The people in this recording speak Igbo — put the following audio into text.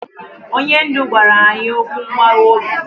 Onye ndu gwara anyị okwu mgbawa obi.